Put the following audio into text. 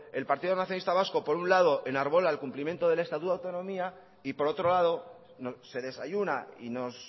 el partido nacionalista vasco por un lado enarbola el cumplimiento del estatuto de autonomía y por otro lado se desayuna y nos